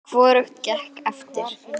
Hvorugt gekk eftir.